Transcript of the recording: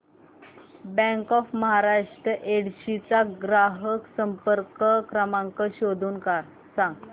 bank of Maharashtra Yedshi चा ग्राहक संपर्क क्रमांक शोधून सांग